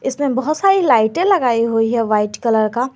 इसमें बहोत सारी लाइटें लगाई हुई है व्हाइट कलर का।